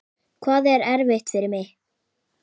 Hvað er eftir fyrir mig?